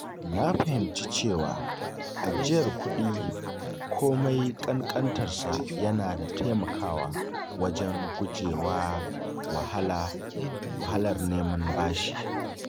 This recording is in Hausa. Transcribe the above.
Na fahimci cewa ajiyar kuɗi komai ƙanƙantarsa yana taimakawa wajen guje wa wahalar neman bashi.